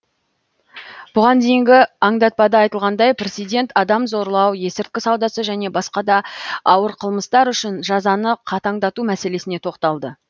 бұған дейінгі аңдатпада айтылғандай президент адам зорлау есірткі саудасы және басқа да ауыр қылмыстар үшін жазаны қатаңдату мәселесіне тоқталды